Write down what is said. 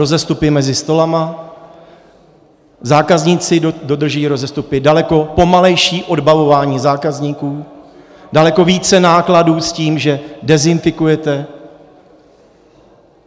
Rozestupy mezi stoly, zákazníci dodržují rozestupy, daleko pomalejší odbavování zákazníků, daleko více nákladů s tím, že dezinfikujete.